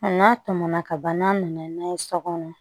Nka n'a tɛmɛna kaban n'a nana n'a ye so kɔnɔ